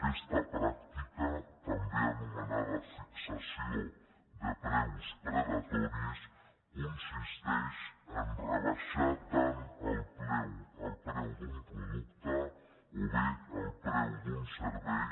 aquesta pràctica també anomenada fixació de preus depredatoris consisteix a rebaixar tant el preu d’un producte o bé el preu d’un servei